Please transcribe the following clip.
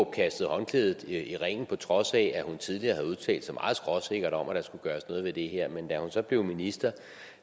kastede håndklædet i ringen på trods af at hun tidligere havde udtalt sig meget skråsikkert om at der skulle gøres noget ved det her men da hun så blev minister